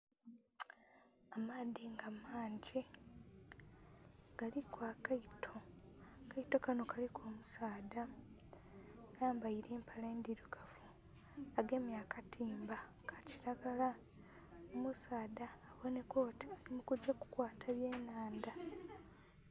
Amaadhi nga mangi galiku akaato, akaato kanho kaliku omusaadha ayambaile empale ndhirugavu, agemye akatimba ka kilagala. Omusaadha abonheka oti ali mukugya kugema byenhandha.